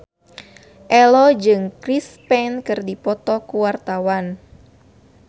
Ello jeung Chris Pane keur dipoto ku wartawan